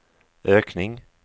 ökning